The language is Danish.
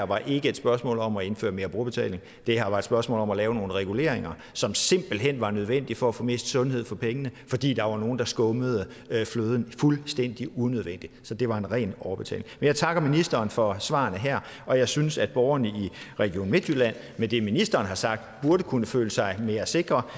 var et spørgsmål om at indføre mere brugerbetaling det her var et spørgsmål om at lave nogle reguleringer som simpelt hen var nødvendige for at få mest sundhed for pengene fordi der var nogle der skummede fløden fuldstændig urimeligt så det var ren overbetaling jeg takker ministeren for svarene her og jeg synes at borgerne i region midtjylland med det ministeren har sagt burde kunne føle sig mere sikre